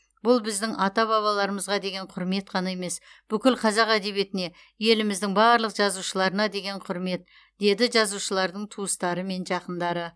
бұл біздің ата бабаларымызға деген құрмет қана емес бүкіл қазақ әдебиетіне еліміздің барлық жазушыларына деген құрмет деді жазушылардың туыстары мен жақындары